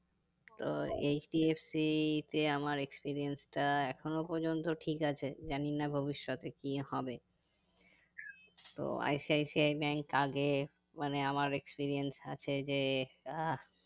তো HDFC তে আমার experience টা এখনো পর্যন্ত ঠিক আছে জানি না ভবিষতে কি হবে তো ICICI bank আগে মানে আমার experience আছে যে আহ